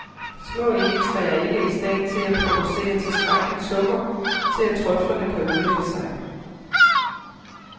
Små egetræer er ikke i stand til at producere tilstrækkeligt sukker til at trøflerne kan udvikle sig.